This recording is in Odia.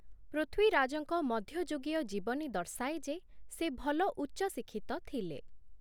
ପୃଥ୍ୱୀରାଜଙ୍କ ମଧ୍ୟଯୁଗୀୟ ଜୀବନୀ ଦର୍ଶାଏ ଯେ, ସେ ଭଲ ଉଚ୍ଚ ଶିକ୍ଷିତ ଥିଲେ ।